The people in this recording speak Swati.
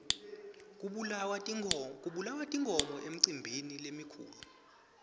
kubulawa tinkhomo emicimbini lemikhulu